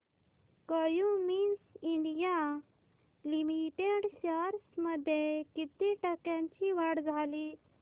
Cummins India limited shares मध्ये किती टक्क्यांची वाढ झाली